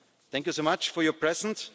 enemies. Thank you very much for your